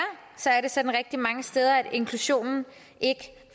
er sådan rigtig mange steder at inklusionen ikke